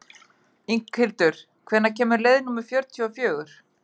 Inghildur, hvenær kemur leið númer fjörutíu og fjögur?